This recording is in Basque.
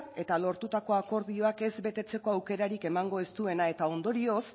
eta lortutako akordioak ez betetzeko aukerarik emango ez duena eta ondorioz